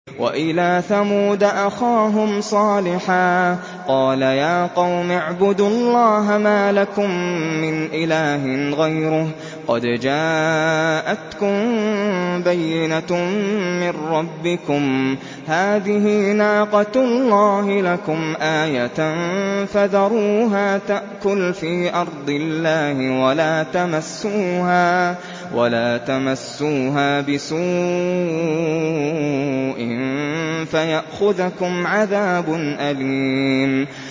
وَإِلَىٰ ثَمُودَ أَخَاهُمْ صَالِحًا ۗ قَالَ يَا قَوْمِ اعْبُدُوا اللَّهَ مَا لَكُم مِّنْ إِلَٰهٍ غَيْرُهُ ۖ قَدْ جَاءَتْكُم بَيِّنَةٌ مِّن رَّبِّكُمْ ۖ هَٰذِهِ نَاقَةُ اللَّهِ لَكُمْ آيَةً ۖ فَذَرُوهَا تَأْكُلْ فِي أَرْضِ اللَّهِ ۖ وَلَا تَمَسُّوهَا بِسُوءٍ فَيَأْخُذَكُمْ عَذَابٌ أَلِيمٌ